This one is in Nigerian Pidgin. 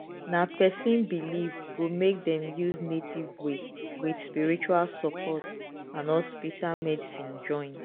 na person belief go make dem use native way with spiritual support and hospital medicine join.